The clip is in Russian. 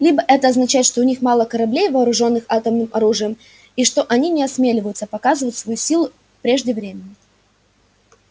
либо это означает что у них мало кораблей вооружённых атомным оружием и что они не осмеливаются показывать свою силу прежде времени